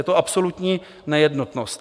Je to absolutní nejednotnost.